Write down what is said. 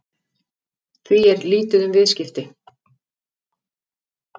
Því er lítið um viðskipti